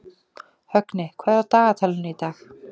Högni, hvað er á dagatalinu í dag?